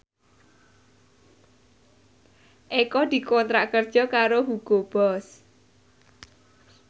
Eko dikontrak kerja karo Hugo Boss